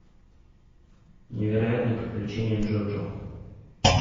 невероятные приключения джоджо